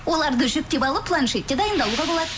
оларды жүктеп алып планшетте дайындалуға болады